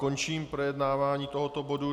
Končím projednávání tohoto bodu.